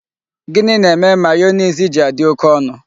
Gini na-eme mayonezi ji adị oké ọnụ?